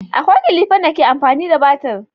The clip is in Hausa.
Akwai kilifan da ke amfani da battir